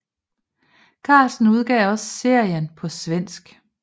Carlsen udgav også serien på svensk